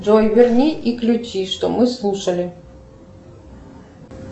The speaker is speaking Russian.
джой верни и включи что мы слушали